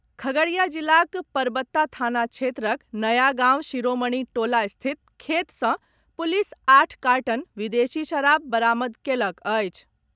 खगड़िया जिलाक परबत्ता थाना क्षेत्रक नयागांव शिरोमणि टोला स्थित खेत सॅ पुलिस आठ कार्टन विदेशी शराब बरामद कएलक अछि।